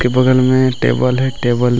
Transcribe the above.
के बगल में टेबल है टेबल --